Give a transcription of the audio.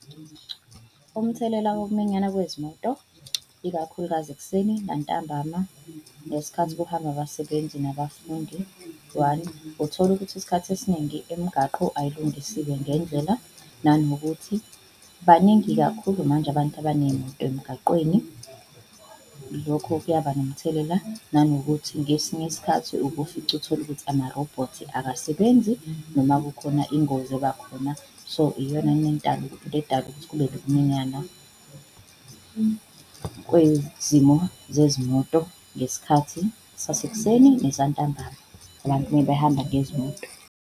Umthelela wokuminyana kwezimoto ikakhulukazi ekuseni nantambama ngesikhathi kuhamba abasebenzi nabafundi. One, utholukuthi isikhathi esiningi imgaqo ayilungisiwe ngendlela nanokuthi baningi kakhulu manje abantu abanezimoto emgaqweni lokho kuyaba nomthelela, nanokuthi ngesinye isikhathi uke ufice utholukuthi ama-robot akasebenzi noma kukhona ingozi ebakhona. So iyona into edala ukuthi kube nokuminyana kwezimo zezimoto ngesikhathi sasekuseni nesantambama, abantu mebehamba ngezimoto.